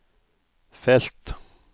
felt